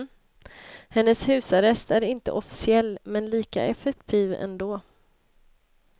Hennes husarrest är inte officiell, men lika effektiv ändå.